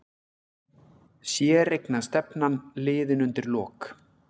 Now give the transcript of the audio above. Séreignarstefnan liðin undir lok